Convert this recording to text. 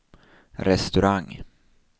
restaurang